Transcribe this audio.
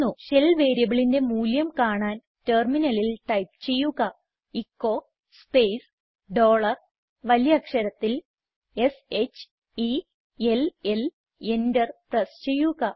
shell വേരിയബിളിന്റെ മൂല്യം കാണാൻ ടെർമിനലിൽ ടൈപ്പ് ചെയ്യുക എച്ചോ സ്പേസ് ഡോളർ വലിയ അക്ഷരത്തിൽ s h e l L enter press ചെയ്യുക